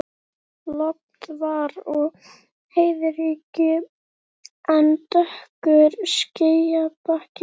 Logn var og heiðríkja en dökkur skýjabakki á austurhimni.